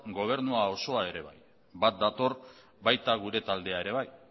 gobernu osoa ere bai bat dator baita gure taldea ere bai